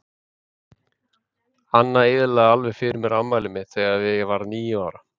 Anna eyðilagði alveg fyrir mér afmælið mitt þegar ég varð níu ára.